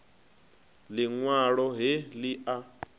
liṋ walo he li a